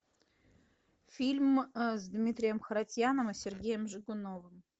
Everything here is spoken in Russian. фильм с дмитрием харатьяном и сергеем жигуновым